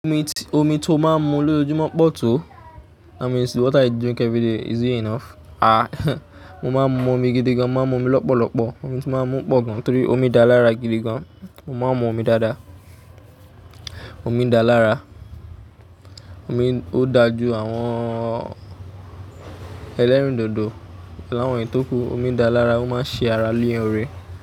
Omi tí, omi tí ó máa ń mu lójoojúmọ́ pọ̀ tó? That means what i drink every day is it enough? Ah, mo máa ń mu omi gidi gan, mo máa ń mu omi lọ́pọ̀lọ́pọ̀, omi tí mo máa ń mú ń pọ̀ gan torí omi dá lára gidi gan. Mo máa ń mu omi dáadáa. Omi dáa lára, omi ó dáa ju àwọn ẹ̀lẹ́rìndòdò àwọn èyí tòkú, omi dá lára ó máa ṣe ara léèrè.